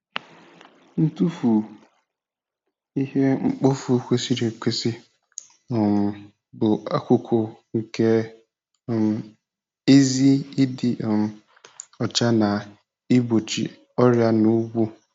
Ntụfu ihe mkpofu kwesịrị ekwesị um bụ akụkụ nke um ezi ịdị um ọcha na igbochi ọrịa n'ugbo.